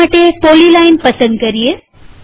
તેના માટે પોલીલાઈન પસંદ કરીએ